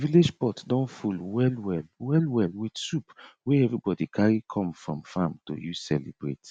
the village pot don full wellwell wellwell with soup wey everybody carry come from farm to use celebrate